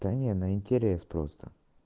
та не на интерес просто